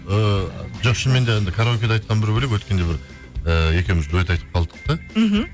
ііі жоқ шынымен де анадай караокеде айтқан бір бөлек өткенде бір ііі екеуіміз дуэт айтып қалдық та мхм